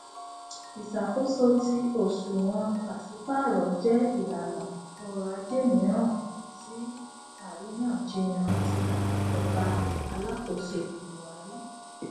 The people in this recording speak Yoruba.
ìṣàkóso ti òṣùwòn pàsípààrọ jẹ ìlànà ọrọajé mìíràn ti àríyànjiyàn ti ìjọba alákóso buhari